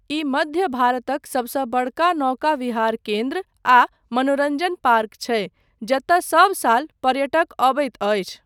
ई मध्य भारतक सबसँ बड़का नौका विहार केन्द्र आ मनोरञ्जन पार्क छै जतय सब साल पर्यटक अबैत अछि।